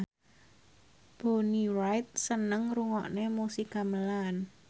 Bonnie Wright seneng ngrungokne musik gamelan